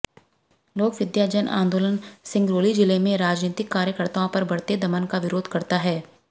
लोकविद्या जन आन्दोलन सिंगरौली जिले में राजनीतिक कार्यकर्ताओं पर बढ़ते दमन का विरोध करता है